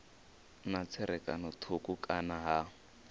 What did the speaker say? na tserakano thukhu kana ha